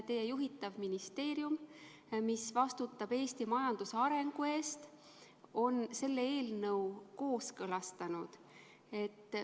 Teie juhitav ministeerium, mis vastutab Eesti majanduse arengu eest, on selle eelnõu kooskõlastanud.